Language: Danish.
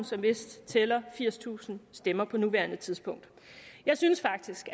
som vist tæller firstusind stemmer på nuværende tidspunkt jeg synes faktisk